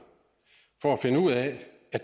at